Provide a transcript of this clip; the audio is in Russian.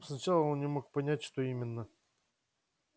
сначала он не мог понять что именно